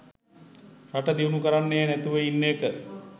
රට දියුනු කරන්නෙ නැතිව ඉන්න එක